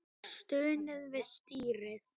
Það er stunið við stýrið.